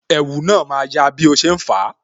Ẹ̀wù na ma ya bí o ṣe ń fa